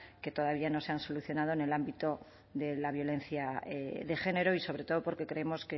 que todavía no se han solucionado en el ámbito de la violencia de género y sobre todo porque creemos